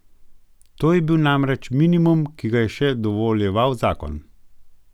To je bil namreč minimum, ki ga je še dovoljeval zakon.